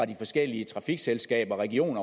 de forskellige trafikselskaber og regionerne